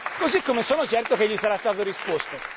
Così come sono certo che gli sarà stato risposto.